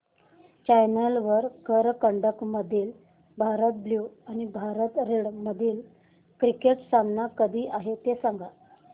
challenger करंडक मधील Bharat blue आणि भारत रेड मधील क्रिकेट सामना कधी आहे ते सांगा